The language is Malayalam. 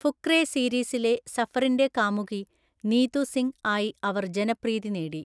ഫുക്രേ സീരീസിലെ സഫറിന്റെ കാമുകി നീതു സിംഗ് ആയി അവർ ജനപ്രീതി നേടി.